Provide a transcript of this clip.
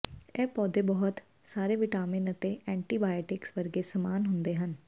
ਇਹ ਪੌਦੇ ਬਹੁਤ ਸਾਰੇ ਵਿਟਾਮਿਨ ਅਤੇ ਐਂਟੀਬਾਇਓਟਿਕਸ ਵਰਗੇ ਸਮਾਨ ਹੁੰਦੇ ਹਨ